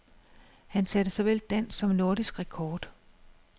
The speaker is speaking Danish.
Han satte såvel dansk som nordisk rekord.